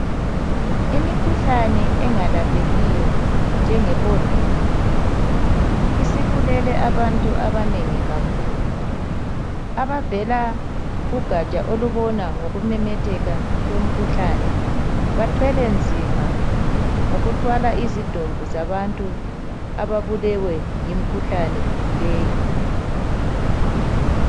Imikhuhlane engalaphekiyo njenge Covid, isibulele abantu abanengi kakhulu. Abavela kugaja olubona ngokumemetheka komkhuhlane, bathwele nzima ngokuthwala izidumbu zabantu ababulewe yimkhuhlane leyi.